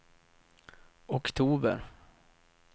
oktober